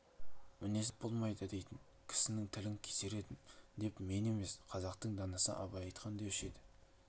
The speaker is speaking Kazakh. мінезін түзеп болмайды дейтін кісінің тілін кесер едім деп мен емес қазақтың данасы абай айтқан деуші еді